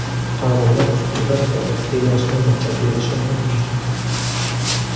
Fuqarolar sudyalar faoliyatiga yozma baho berishi mumkin.